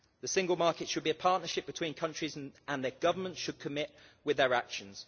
The single market should be a partnership between countries and their governments should commit with their actions.